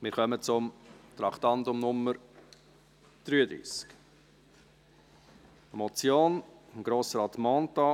Wir kommen zum Traktandum 33, einer Motion von Grossrat Mentha: